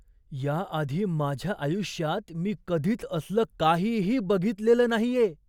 याआधी माझ्या आयुष्यात मी कधीच असलं काहीही बघितलेलं नाहीये.